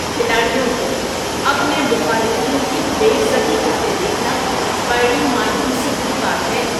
کھلاڑیوں کو اپنے مخالفین کی بے عزتی کرتے دیکھنا بڑی مایوسی کی بات ہے۔